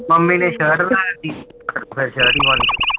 mummy ਨੇ shirt ਲੈ ਦਿੱਤੀ